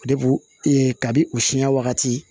O de bo e ka bi u siɲɛ wagati